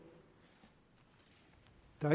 der